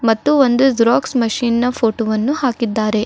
ಮತ್ತು ಒಂದು xerox machine ನ ಫೋಟೋ ವನ್ನು ಹಾಕಿದ್ದಾರೆ.